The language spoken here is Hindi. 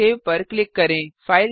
सेव पर क्लिक करें